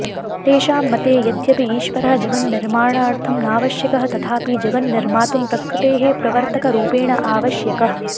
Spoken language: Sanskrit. तेषां मते यद्यपि ईश्वरः जगन्निर्माणार्थं नावश्यकः तथापि जगन्निर्मातुं प्रकृतेः प्रवर्तकरूपेण आवश्यकः